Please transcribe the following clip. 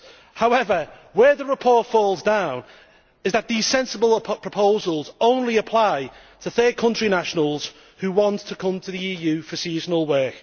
However, where the report falls down is that these sensible proposals only apply to third country nationals who want to come to the EU for seasonal work.